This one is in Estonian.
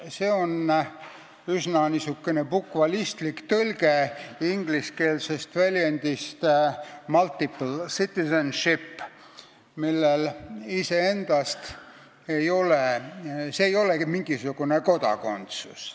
See on üsna bukvalistlik tõlge ingliskeelsest väljendist multiple citizenship, mis iseendast ei tähenda mingisugust kodakondsust.